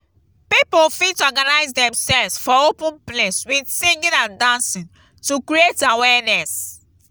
pipo fit organise themselves for open place with singing and dancing to create awareness